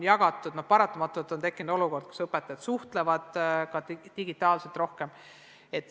Paratamatult on tekkind olukord, kus õpetajad ka suhtlevad digitaalselt rohkem.